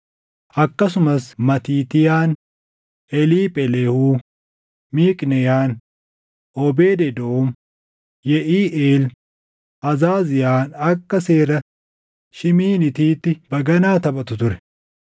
akkasumas Matiitiyaan, Eliipheleehuu, Miiqneyaan, Oobeed Edoom, Yeʼiiʼeel, Azaaziyaan akka seera shiimiiniitiitti + 15:21 Shiimiiniitiin gosa muuziiqaa ti. baganaa taphatu ture.